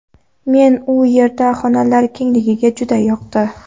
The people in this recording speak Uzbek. Menga u yerda xonalar kengligi juda yoqdi.